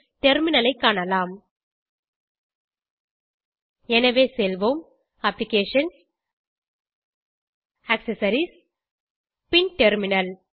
terminal ஐ காண்போம் எனவே செல்வோம் அப்ளிகேஷன்ஸ் ஆக்செசரிஸ் பின் டெர்மினல்